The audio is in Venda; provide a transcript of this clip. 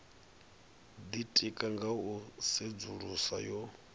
ditika nga u tsedzuluso yo